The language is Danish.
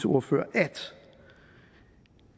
ordfører at